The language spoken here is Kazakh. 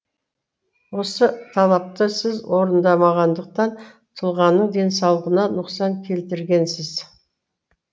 осы талапты сіз орындамағандықтан тұлғаның денсаулығына нұқсан келтіргенсіз